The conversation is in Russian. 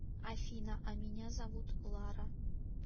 афина а меня зовут лара